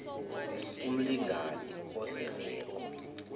s umlingani oseleko